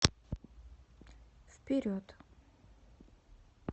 вперед